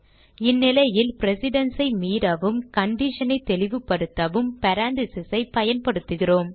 இந்நிலையில் precedence ஐ மீறவும் condition ஐ தெளிவுப்படுத்தவும் parentheses ஐ பயன்படுத்துகிறோம்